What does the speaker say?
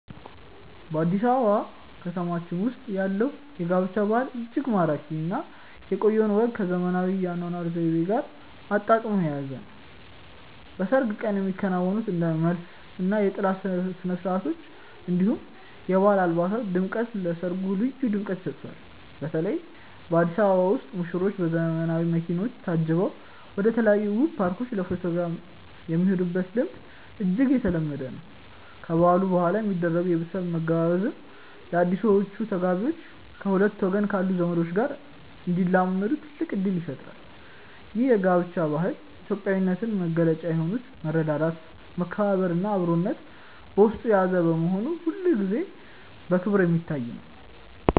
በአዲስ አበባ ከተማችን ውስጥ ያለው የጋብቻ ባህል እጅግ ማራኪ እና የቆየውን ወግ ከዘመናዊው የአኗኗር ዘይቤ ጋር አጣጥሞ የያዘ ነው። በሰርግ ቀን የሚከናወኑት እንደ መልስ እና የጥላ ስነስርዓቶች፣ እንዲሁም የባህል አልባሳት ድምቀት ለሰርጉ ልዩ ድምቀትን ይሰጡታል። በተለይ በአዲስ አበባ ውስጥ ሙሽሮች በዘመናዊ መኪኖች ታጅበው ወደተለያዩ ውብ ፓርኮች ለፎቶግራፍ የሚሄዱበት ልምድ እጅግ የተለመደ ነው። ከበዓሉ በኋላ የሚደረገው የቤተሰብ መገባበዝም አዲሶቹ ተጋቢዎች ከሁለቱም ወገን ካሉ ዘመዶች ጋር እንዲላመዱ ትልቅ እድል ይፈጥራል። ይህ የጋብቻ ባህል የኢትዮጵያዊነትን መገለጫ የሆኑትን መረዳዳት፣ መከባበር እና አብሮነትን በውስጡ የያዘ በመሆኑ ሁልጊዜም በክብር የሚታይ ነው።